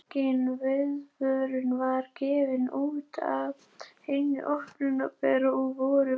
Engin viðvörun var gefin út af hinu opinbera og voru íbúar því alls óviðbúnir.